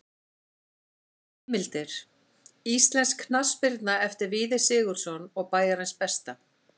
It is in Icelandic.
Heimildir: Íslensk knattspyrna eftir Víði Sigurðsson og Bæjarins besta.